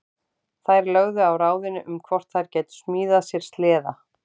Þær lögðu á ráðin um hvort þær gætu smíðað sér sleða.